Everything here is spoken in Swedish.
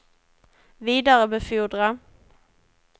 vidarebefordra